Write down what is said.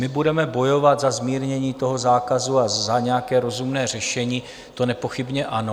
My budeme bojovat za zmírnění toho zákazu a za nějaké rozumné řešení, to nepochybně ano.